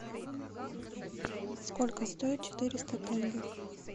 сколько стоит четыреста тенге